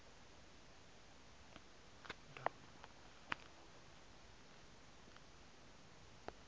wo e e ka se